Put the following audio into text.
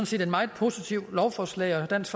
set et meget positivt lovforslag og dansk